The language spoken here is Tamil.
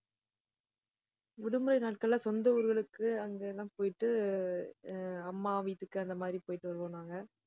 விடுமுறை நாட்கள்ல, சொந்த ஊர்களுக்கு அங்க எல்லாம் போயிட்டு ஆஹ் அம்மா வீட்டுக்கு அந்த மாதிரி போயிட்டு வருவோம் நாங்க